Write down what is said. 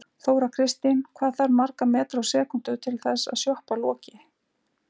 Þóra Kristín: Hvað þarf marga metra á sekúndu til að þessi sjoppa loki?